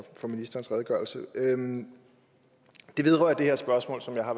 ministerens redegørelse det vedrører det her spørgsmål som jeg har